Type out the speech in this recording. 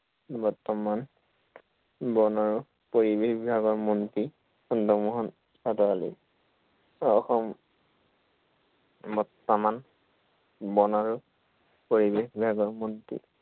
বৰ্তমান বন আৰু পৰিৱেশ বিভাগৰ মন্ত্ৰী চন্দ্ৰমোহন পাটোৱাৰী। অসম বৰ্তমান, বন আৰু পৰিৱেশ বিভাগৰ মন্ত্ৰী